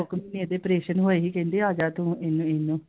ਇਹਦੇ operation ਹੋਏਗੀ ਕਹਿੰਦੇ ਆਜਾ ਤੂ ਇਹਨੂੰ ਇਹਨੂੰ I